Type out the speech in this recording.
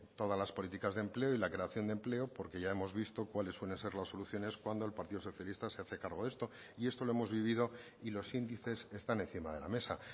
todas las políticas de empleo y la creación de empleo porque ya hemos visto cuales suelen ser las soluciones cuando el partido socialista se hace cargo de esto y esto lo hemos vivido y los índices están encima de la mesa